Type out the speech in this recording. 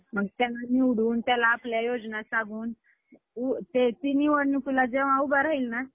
जेवायचं काय hotel मध्येच होतं आमचं सगळं. जेवायचं काय बाहेरच असं म्हणजे असं रोटी-बीटी आणि रोज संध्याकाळी, अं संध्याकाळी ice cream संध्याकाळी जेवल्यानंतरनं.